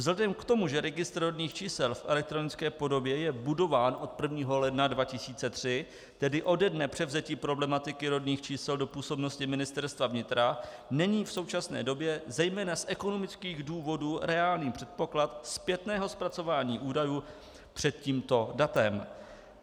Vzhledem k tomu, že registr rodných čísel v elektronické podobě je budován od 1. ledna 2003, tedy ode dne převzetí problematiky rodných čísel do působnosti Ministerstva vnitra, není v současné době zejména z ekonomických důvodů reálný předpoklad zpětného zpracování údajů před tímto datem.